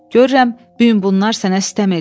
Görürəm, bu gün bunlar sənə sıtəm eləyiblər.